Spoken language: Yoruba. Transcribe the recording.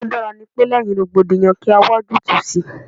Ohun tí ó dára ní pe, lẹ́yìn rògbòdìyàn kí a wá ojútùú sí i.